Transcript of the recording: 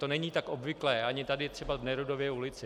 To není tak obvyklé ani tady třeba v Nerudově ulici.